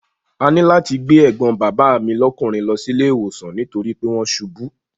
A ní láti gbé ẹ̀gbọ́n bàbá mi lọ́kùnrin lọ sí ilé ìwòsàn nítorí pé wọ́n ṣubú.